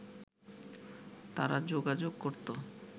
তারা যোগাযোগ করত